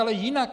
Ale jinak.